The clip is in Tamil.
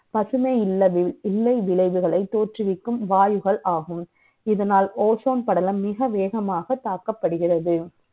பசுமை இல்லை விளை வுகளை த ோற்றுவிக்கும் வாயுகள் ஆகும். இதனால் ozone படலம் மிக வே கமாக தாக்கப்படுகிறது